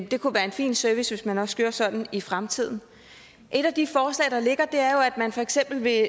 det kunne være en fin service hvis man også gjorde sådan i fremtiden et af de forslag der ligger er jo at man for eksempel vil